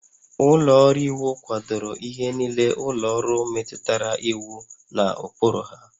Ụlọ ọrụ iwu kwadoro ihe niile ụlọ ọrụ metụtara iwu na ụkpụrụ ha